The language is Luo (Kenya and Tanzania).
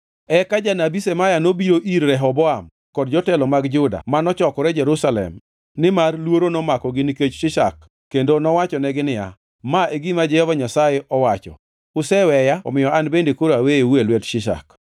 Eka janabi Shemaya nobiro ir Rehoboam kod jotelo mag Juda mano chokore Jerusalem nimar luoro nomakogi nikech Shishak kendo nowachonegi niya, “Ma e gima Jehova Nyasaye owacho, ‘Useweya omiyo an bende koro aweyou e lwet Shishak.’ ”